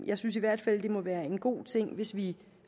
jeg synes i hvert fald det vil være en god ting hvis vi